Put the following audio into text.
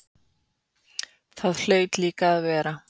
Það hlaut líka að vera.